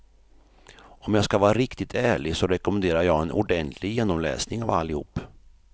Om jag skall vara riktigt ärlig så rekommenderar jag en ordentlig genomläsning av allihop.